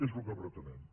és el que pretenem